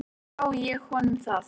Þingmenn segja þá vinnu eftir.